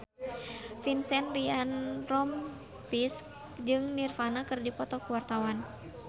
Vincent Ryan Rompies jeung Nirvana keur dipoto ku wartawan